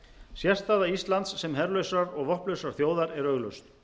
sérstaða íslands sem herlausrar og vopnlausrar þjóðar er augljóst